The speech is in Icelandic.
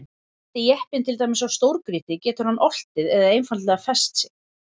Lendi jeppinn til dæmis á stórgrýti getur hann oltið eða einfaldlega fest sig.